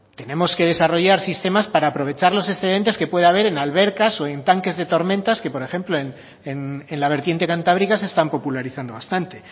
tenemos que desarrollar sistemas para aprovechar los excedentes que pueda ver en albercas o en tanques de tormentas que por ejemplo en la vertiente cantábrica se están popularizando bastante